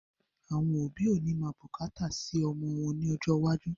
Àwọn òbí ó ní máa bùkátà sì ọmọ wọn ní ọjọ́ iwájú